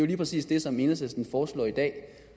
lige præcis det som enhedslisten foreslår i dag